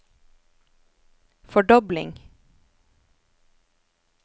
fordobling